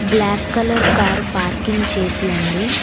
Black colour car parking చేసి ఉంది.